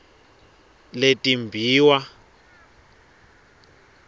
letimbiwa